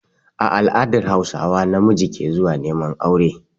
A all'adar hausawa, namiji ke zuwa neman aure